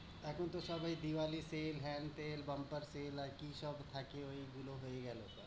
এখন তো সবাই দিওয়ালিতে হেন-তেন, bumper তেল আর কি সব থাকে ঐগুলো হয়ে গেলো।